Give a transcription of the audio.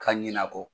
Ka ɲinɛ a kɔ